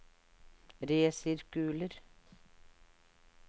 resirkuler